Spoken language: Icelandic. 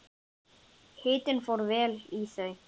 Hitinn fór vel í þau.